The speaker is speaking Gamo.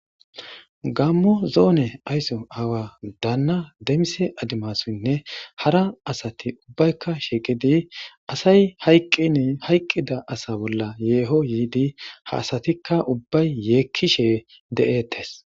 Gamo zonne ayso aawa danna demise adimasuynne hara asati ubbayka shiqidi asay hayqini hayqida asa bolla yeho yidi ha asatika ubbay yekishe de7ettes.